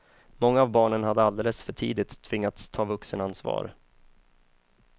Många av barnen hade alldeles för tidigt tvingats ta vuxenansvar.